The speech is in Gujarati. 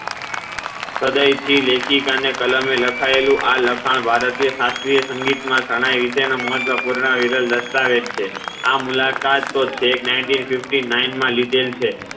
પદયચી લેખિકા ના કલમે લખાયેલું આ લખાણ ભારતીય શાસ્ત્રીય સંગીત માં શારણ્ય વિષે નો મહત્વપૂર્ણ દસ્તાવેજ છે આ મુલાકાત તો ચેક ninteen fifty nine માં લીધેલ છે